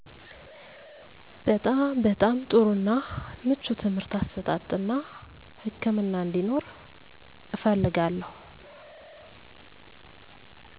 በጣም በጣም ጥሩ እና ምቹ ትምርህት አሰጣጥ እና ህክምና አንዴኖር እፈልጋለው